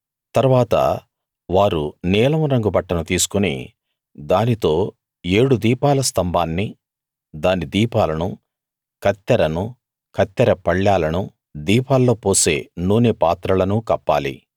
తరువాత వారు నీలం రంగు బట్టను తీసుకుని దానితో ఏడు దీపాల స్తంభాన్నీ దాని దీపాలను కత్తెరనూ కత్తెర పళ్ళాలను దీపాల్లో పోసే నూనె పాత్రలనూ కప్పాలి